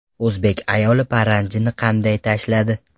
O‘zbek ayoli paranjini qanday tashladi?